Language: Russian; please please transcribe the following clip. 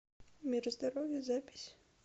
мир здоровья запись